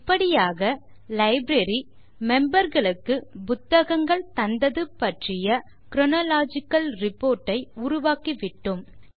இப்படியாக லைப்ரரி memberகளுக்கு புத்தகங்கள் தந்தது பற்றிய குரோனாலஜிக்கல் ரிப்போர்ட் ஐ உருவாக்கிவிட்டோம்